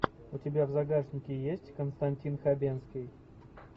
у тебя в загашнике есть константин хабенский